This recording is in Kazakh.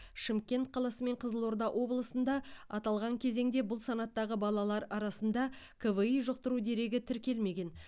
шымкент қаласы мен қызылорда облысында аталған кезеңде бұл санаттағы балалар арасында кви жұқтыру дерегі тіркелмеген